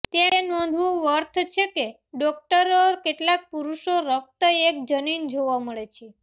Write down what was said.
તે નોંધવું વર્થ છે કે ડોકટરો કેટલાક પુરુષો રક્ત એક જનીન જોવા મળે છે